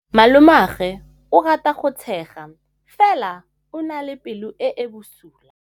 Malomagwe o rata go tshega fela o na le pelo e e bosula.